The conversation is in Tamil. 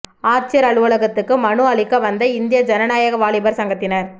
ஆட்சியா் அலுவலகத்துக்கு மனு அளிக்க வந்த இந்திய ஜனநாயக வாலிபா் சங்கத்தினா்